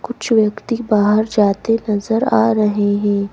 कुछ व्यक्ति बाहर जाते नजर आ रहे है।